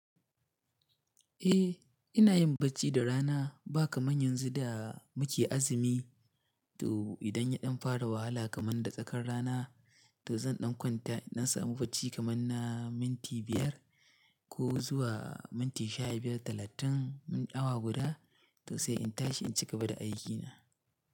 Eh, ina yin bacci da rana ba kamar yanzu da muke azumi. To idan yaɗan fara wahala kamar da tsakar rana, to zan ɗan kwanta, in ɗan samu bacci kamar na minti biyar ko zuwa minti sha biyar, talatin, awa guda, to sai in tashi in cigaba da aikina.